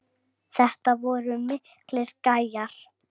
Þetta voru miklir gæjar.